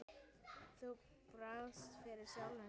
Þú barðist fyrir sjálfu lífinu.